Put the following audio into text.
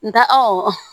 N ta awɔ